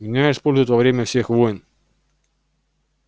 меня используют во время всех войн